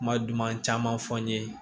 Kuma duman caman fɔ n ye